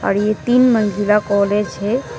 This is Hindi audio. ये तीन मंजिला कॉलेज है।